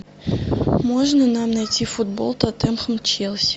можно нам найти футбол тоттенхэм челси